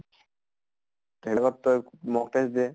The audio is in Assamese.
তই mock test দে